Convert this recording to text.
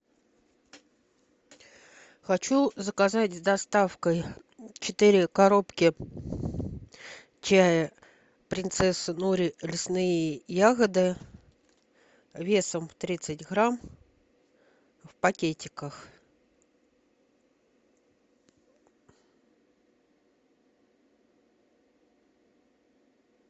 хочу заказать с доставкой четыре коробки чая принцесса нури лесные ягоды весом тридцать грамм в пакетиках